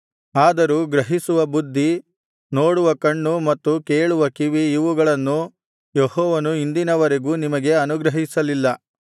ಆದರೂ ಗ್ರಹಿಸುವ ಬುದ್ಧಿ ನೋಡುವ ಕಣ್ಣು ಮತ್ತು ಕೇಳುವ ಕಿವಿ ಇವುಗಳನ್ನು ಯೆಹೋವನು ಇಂದಿನವರೆಗೂ ನಿಮಗೆ ಅನುಗ್ರಹಿಸಲಿಲ್ಲ